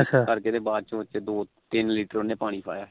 ਇਦਾ ਕਰਕੇ ਤੇ ਬਾਅਦ ਚ ਉਹਨੇ ਦੋ ਤਿੰਨ letter ਉਹਨੇ ਪਾਣੀ ਪਾਇਆ